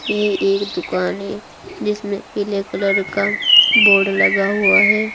ये एक दुकान है जिसमे पीले कलर का बोर्ड लगा हुआ हैं।